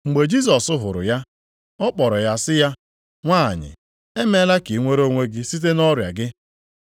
Mgbe Jisọs hụrụ ya, ọ kpọrọ ya sị ya, “Nwanyị emeela ka i nwere onwe gị site nʼọrịa gị.”